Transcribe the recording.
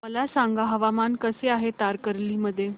मला सांगा हवामान कसे आहे तारकर्ली मध्ये